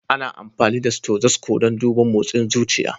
Ana amfani da stothosco dan duban mosin zuciya.